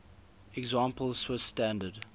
example swiss standard